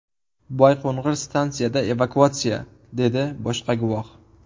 Boyqo‘ng‘ir stansiyada evakuatsiya”, dedi boshqa guvoh.